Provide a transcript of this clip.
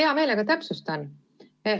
Hea meelega täpsustan.